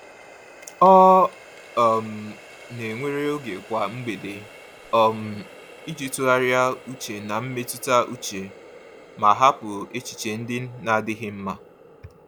Ọ um na-ewere oge kwa mgbede um iji tụgharị uche na mmetụta uche ma hapụ echiche ndị na-adịghị mma.